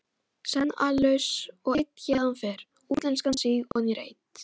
Senn allslaus og einn héðan fer, útlenskan síg oní reit.